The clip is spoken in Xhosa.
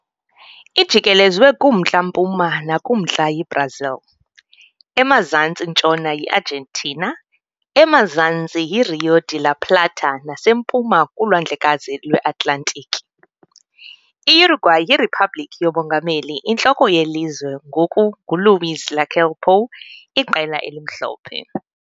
Ijikelezwe kumntla-mpuma nakumantla yiBrazil, emazantsi-ntshona yiArgentina, emazantsi yiRío de la Plata nasempuma kuLwandlekazi lweAtlantiki. I-Uruguay yiriphabliki yomongameli, intloko yelizwe ngoku nguLuís Lacalle Pou Iqela eliMhlophe.